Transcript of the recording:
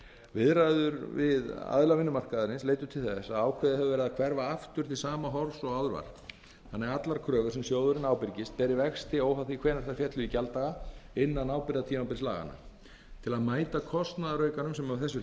viðræður við þá aðila sem hlut eiga að máli leiddu til þess að ákveðið hefur verið að hverfa aftur til sama horfs og áður þannig að allar kröfur sem sjóðurinn ábyrgist beri vexti óháð því hvenær þær féllu í gjalddaga innan ábyrgðatímabils laganna til að mæta kostnaðaraukanum sem af þessu